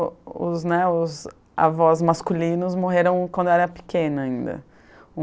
o os né, os avós masculinos morreram quando eu era pequena ainda.